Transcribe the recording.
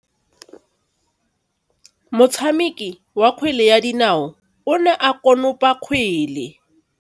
Motshameki wa kgwele ya dinaô o ne a konopa kgwele.